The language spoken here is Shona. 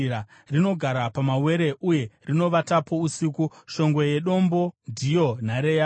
Rinogara pamawere uye rinovatapo usiku; shongwe yedombo ndiyo nhare yaro.